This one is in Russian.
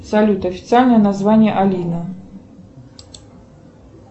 салют официальное название алина